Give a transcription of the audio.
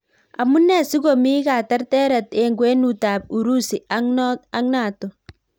Amunee sikomii katerteret eng kwenut ap Urusi ak Nato